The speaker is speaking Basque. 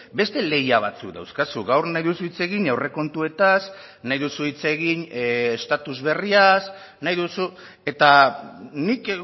beste lehia batzuk dauzkazu gaur nahi duzu hitz egin aurrekontuetaz nahi duzu hitz egin estatus berriaz nahi duzu eta nik